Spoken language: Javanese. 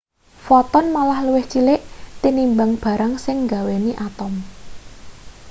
foton malah luwih cilik tinimbang barang sing nggaweni atom